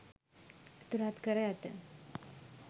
ඇතුලත් කර ඇත.